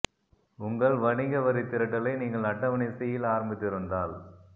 உங்கள் வணிக வரித் திரட்டலை நீங்கள் அட்டவணை சி இல் ஆரம்பித்திருந்தால்